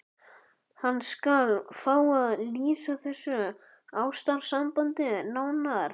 Hann skal fá að lýsa þessu ástarsambandi nánar.